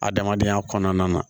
Adamadenya kɔnɔna na